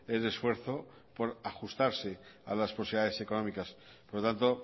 el esfuerzo por ajustarse a las posibilidades económicas por lo tanto